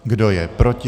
Kdo je proti?